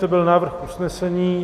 To byl návrh usnesení.